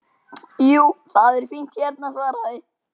Jú, það er fínt hérna svaraði